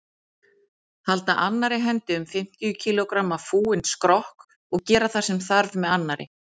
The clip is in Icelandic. Halda annarri hendi um fimmtíu kílógramma fúinn skrokk og gera það sem þarf með annarri.